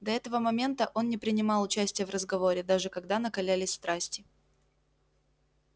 до этого момента он не принимал участия в разговоре даже когда накалялись страсти